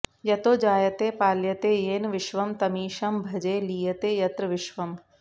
यतो जायते पाल्यते येन विश्वं तमीशं भजे लीयते यत्र विश्वम्